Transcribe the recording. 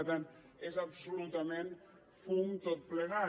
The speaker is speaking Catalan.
per tant és absolutament fum tot plegat